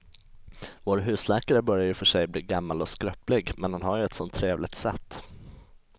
Vår husläkare börjar i och för sig bli gammal och skröplig, men han har ju ett sådant trevligt sätt!